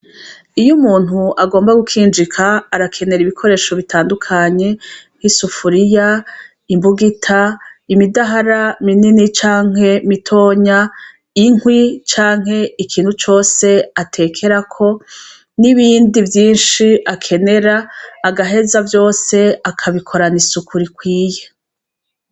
Iyo umuntu agomba gukinjika arakenera Ibikoresho bitandukanye, nkisufuriya, imbugita imidahara minini canke mitoya, inkwi canke ikintu cose atekerako, n'ibindi vyinshi akenera agaheza vyose akabikorana isuku rikwiye.